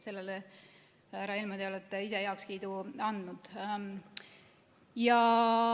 Sellele, härra Helme, te olete ise heakskiidu andnud.